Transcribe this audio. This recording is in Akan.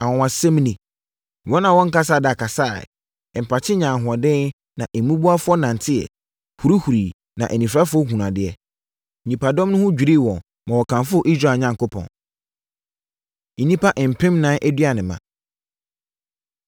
Anwanwasɛm ni! Wɔn a wɔnkasaa da kasaeɛ; mpakye nyaa ahoɔden; na mmubuafoɔ nanteeɛ, hurihuriiɛ na anifirafoɔ hunuu adeɛ. Nnipadɔm no ho dwirii wɔn ma wɔkamfoo Israel Onyankopɔn. Nnipa Mpemnan Aduanema